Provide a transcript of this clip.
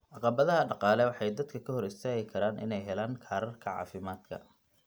Caqabadaha dhaqaale waxay dadka ka hor istaagi karaan inay helaan kaararka caafimaadka.